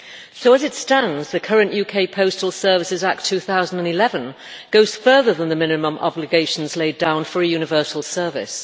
So, as it stands, the current UK Postal Services Act 2011 goes further than the minimum obligations laid down for a universal service.